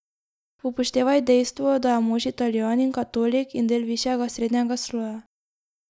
Upoštevaj dejstvo, da je mož Italijan in katolik in del višjega srednjega sloja.